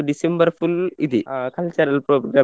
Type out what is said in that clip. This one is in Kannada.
December full ಇದೆ ಆ cultural program ಗೆ